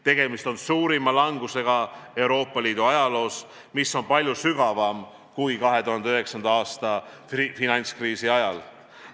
Tegemist on suurima langusega Euroopa Liidu ajaloos, mis on palju sügavam kui 2009. aasta finantskriisi ajal.